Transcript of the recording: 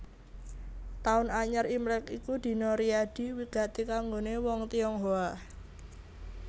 Taun Anyar Imlèk iku dina riyadi wigati kanggoné wong Tionghoa